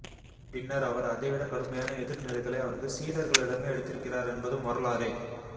பின்னர் அவர் அதைவிடக் கடுமையான எதிர்நிலைகளை அவரது சீடர்களிடமே எடுத்திருக்கிறார் என்பதும் வரலாறே